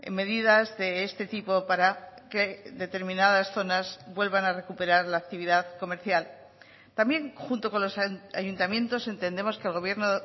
medidas de este tipo para que determinadas zonas vuelvan a recuperar la actividad comercial también junto con los ayuntamientos entendemos que el gobierno